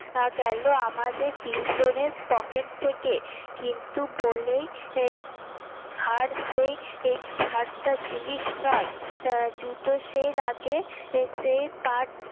গেলো আমাদের তিনজনের পকেট থেকে কিন্তু বলেই আর সে ছাড়টা জিনিস নয় জুতো সে লাগে সে পাট